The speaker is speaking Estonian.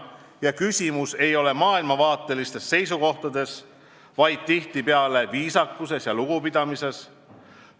Ja küsimus ei ole maailmavaatelistes seisukohtades, vaid tihtipeale viisakuses ja lugupidamises.